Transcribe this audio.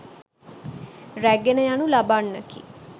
රැගෙන යනු ලබන්නකි.